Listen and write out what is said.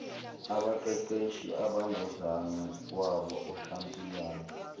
abaqeqeshi abangozakwabo oshampiyoni